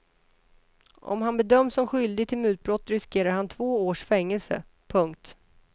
Om han bedöms som skyldig till mutbrott riskerar han två års fängelse. punkt